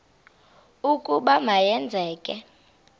ukuba ma yenzeke